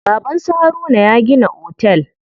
Baban su Haruna ya gina otel.